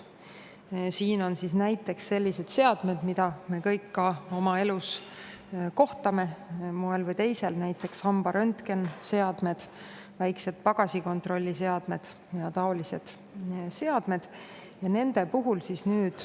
näiteks selliste seadmetega, millega me kõik ka oma elus moel või teisel kokku puutume, näiteks hambaröntgeniseadmed, väiksed pagasikontrolli seadmed ja muud taolised seadmed.